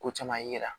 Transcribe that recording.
Ko caman yira